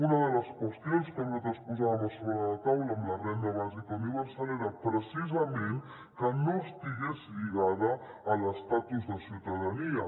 una de les qüestions que nosaltres posàvem sobre la taula amb la renda bàsica universal era precisament que no estigués lligada a l’estatus de ciutadania